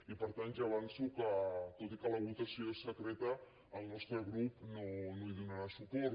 i per tant ja avanço que tot i que la votació és secreta el nostre grup no hi donarà suport